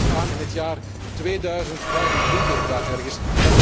Dat komt er wellicht aan in het jaar 2025 of daaromtrent.